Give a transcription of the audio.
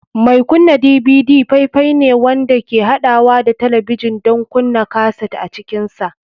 Mai kunna DVD faifai ne wanda ke haɗawa da talabijin don kunna kaset a cikinsa.